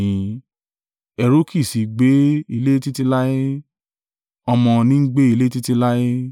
Ẹrú kì í sì í gbé ilé títí láé, ọmọ ní ń gbé ilé títí láé.